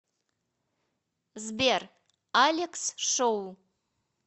сбер алекс шоу